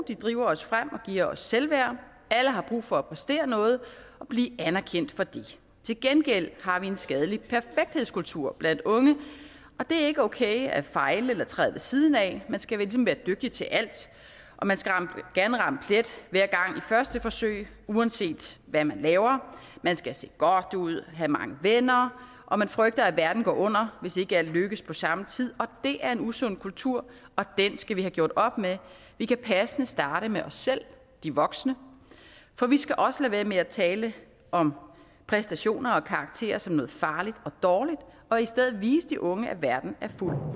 de driver os frem og giver os selvværd alle har brug for at præstere noget og blive anerkendt for det til gengæld har vi en skadelig perfekthedskultur blandt unge det er ikke okay at fejle eller træde siden af man skal ligesom være dygtig til alt man skal gerne ramme plet hver gang i første forsøg uanset hvad man laver man skal se godt ud have mange venner og man frygter at verden går under hvis ikke alt lykkes på samme tid det er en usund kultur og den skal vi have gjort op med vi kan passende starte med og selv de voksne for vi skal også lade være med at tale om præstationer og karakterer som noget farligt og dårligt og i stedet vise de unge at verden er fuld